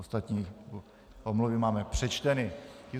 Ostatní omluvy máme přečteny.